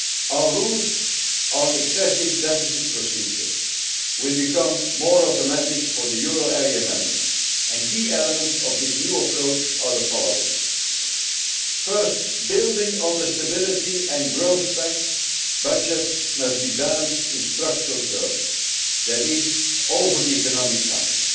Our rules on excessive deficit procedure will become more automatic for the euro area members and key elements of this new approach are the following first, building on the Stability and Growth Pact, budgets must be balanced in structural terms that is, over the economic cycle